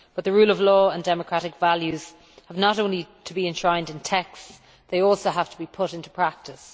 But the rule of law and democratic values have not only to be enshrined in texts, they also have to be put into practice.